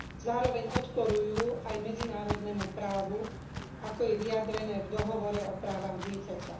Zároveň odporujú aj medzinárodnému právu, ako je vyjadrené v Dohovore o právach dieťaťa.